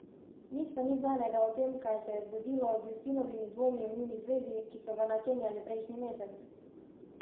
Nič pa ni znanega o tem, kaj se je zgodilo z Justinovimi dvomi o njuni zvezi, ki so ga načenjali prejšnji mesec.